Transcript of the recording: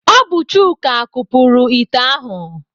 Ọ bụ Chuka kupuru ite ahụ?